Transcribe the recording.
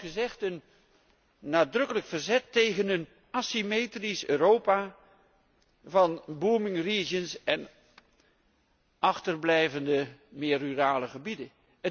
Het is, zoals gezegd, een nadrukkelijk verzet tegen een asymmetrisch Europa van regio's in volle expansie en achterblijvende meer rurale gebieden.